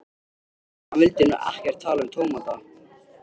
Hann vildi nú ekkert tala um tómata.